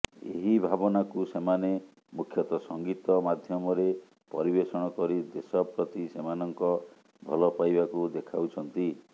ଏହି ଭାବନାକୁ ସେମାନେ ମୁଖ୍ୟତଃ ସଙ୍ଗୀତ ମାଧ୍ୟମରେ ପରିବେଷଣ କରି ଦେଶ ପ୍ରତି ସେମାନଙ୍କ ଭଲ ପାଇବାକୁ ଦେଖାଉଛନ୍ତି